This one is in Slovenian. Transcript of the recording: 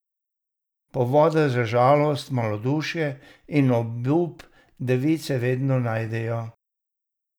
Povode za žalost, malodušje in obup device vedno najdejo.